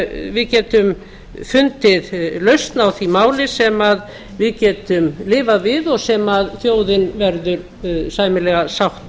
við getum fundið lausn á því máli sem við getum lifað við og sem þjóðin verður sæmilega sátt